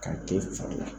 Ka kɛ i fari la